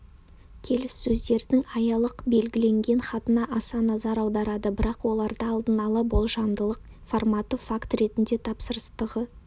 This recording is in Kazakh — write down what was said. келіссөздердің аялық-белгіленген хатына аса назар аударады бірақ оларда алдын ала болжамдылық форматы факт ретінде тапсырыстығы